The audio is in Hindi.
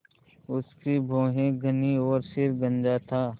उसकी भौहें घनी और सिर गंजा था